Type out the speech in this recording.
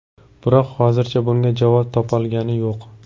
Biroq hozircha bunga javob topolgani yo‘q.